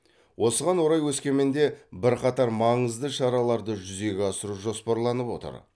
осыған орай өскеменде бірқатар маңызды шараларды жүзеге асыру жоспарланып отыр